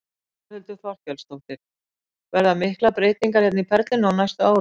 Þórhildur Þorkelsdóttir: Verða miklar breytingar hérna í Perlunni á næstu árum?